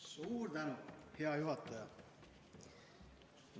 Suur tänu, hea juhataja!